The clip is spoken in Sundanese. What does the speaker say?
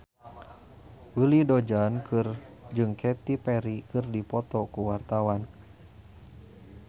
Willy Dozan jeung Katy Perry keur dipoto ku wartawan